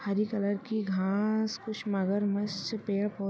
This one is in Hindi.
हरी कलर की घास कुछ मगरमच्छ पेड़ पौ--